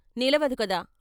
నిలవదు కదా!